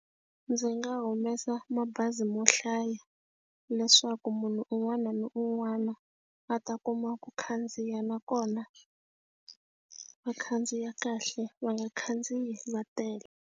Ndzi nga humesa mabazi mo hlaya leswaku munhu un'wana na un'wana a ta kuma ku khandziya nakona, va khandziya kahle va nga khandziyi va tele.